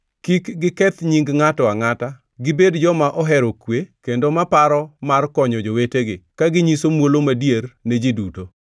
kik giketh nying ngʼato angʼata, gibed joma ohero kwe, kendo ma paro mar konyo jowetegi, ka ginyiso muolo madier ne ji duto.